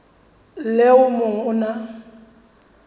le o mong o na